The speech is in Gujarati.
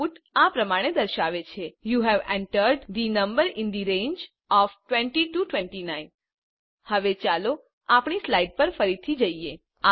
આઉટપુટ આ પ્રમાણે દર્શાવે છે you have entered the number in the range of 20 29 હવે ચાલો આપણી સ્લાઈડ પર ફરીથી જઈએ